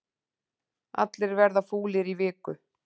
Allir verða fúlir í viku